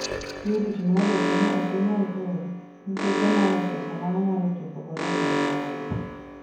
Purity nodwoke ni ok onyal ol nikech omanyo pesa ma onyalo chopo godo dwaro mage.